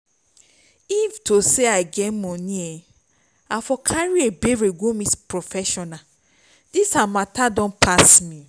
if to say i get money i for carry ebere go meet professional dis her matter pass me